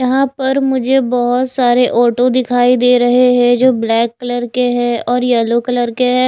यहां पर मुझे बहुत सारे ऑटो दिखाई दे रहे है जो ब्लैक कलर के है और येलो कलर के है।